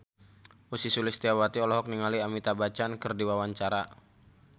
Ussy Sulistyawati olohok ningali Amitabh Bachchan keur diwawancara